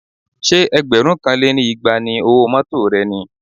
Ṣé ẹgbẹ̀rún kan lé ní igba ni owó mọ́tọ̀ rẹ ni?